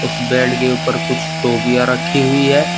उस बेड के ऊपर कुछ टोपिया रखी हुई है।